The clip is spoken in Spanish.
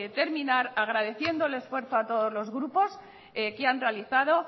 terminar agradeciendo el esfuerzo a todos los grupos que han realizado